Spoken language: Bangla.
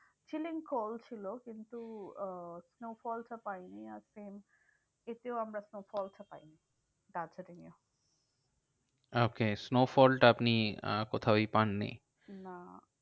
Chilling cold ছিল, কিন্তু আহ snowfall টা পাইনি আর same এতেও আমরা snowfall টা পাইনি দার্জিলিং এও। okay snowfall টা আপনি আহ কোথাওই পাননি? না